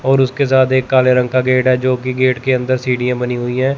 और उसके साथ एक काले रंग का गेट है जो की गेट के अंदर सीढ़ियां बनी हुई है।